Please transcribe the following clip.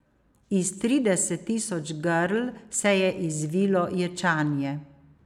Iz trideset tisoč grl se je izvilo ječanje.